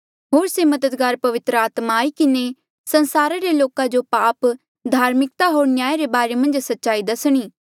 होर से मददगार पवित्र आत्मा आई किन्हें संसारा रे लोका जो पाप धार्मिकता होर न्याया रे बारे मन्झ सच्चाई दसणी